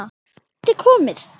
Hann gæti komið